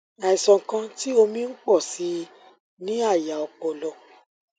àìsàn kan tí omi ń pò sí i ní àyà ọpọlọ